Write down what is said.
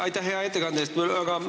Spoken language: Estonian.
Aitäh hea ettekande eest!